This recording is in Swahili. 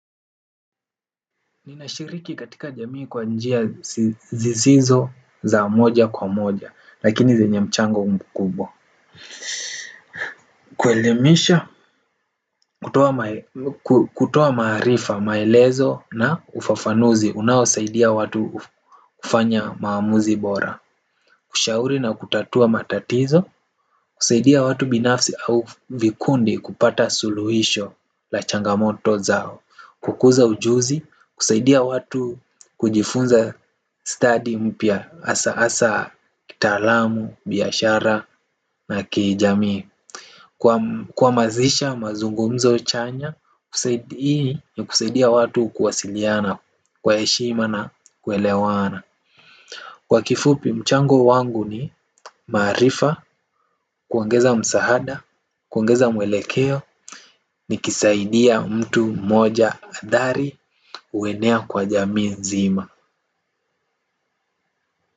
Ninashiriki katika jamii kwa njia sisizo za moja kwa moja lakini zenye mchango mkubwa. Kuelimisha, kutoa maarifa, maelezo na ufafanuzi unaosaidia watu kufanya uamuzi bora. Kushauri na kutatua matatizo, kusaidia watu binafsi au vikundi kupata suluhisho la changamoto zao. Kukuza ujuzi, kusaidia watu kujifunza stadi mpya hasa hasa kitaalamu, biashara na kijamii kuhamasisha mazungumzo chanya. Zaidi hii kusaidia watu kuwasiliana kwa heshima na kuelewana. Kwa kifupi mchango wangu ni maarifa, kuongeza msaada, kuongeza mwelekeo. Nikisaidia mtu mmoja adhari huenea kwa jamii nzima.